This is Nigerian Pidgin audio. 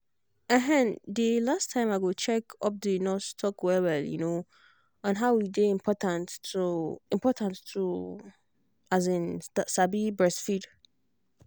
ehnnnthe last time i go check upthe nurse talk well well um on how e take day important to important to um sabi breastfeed.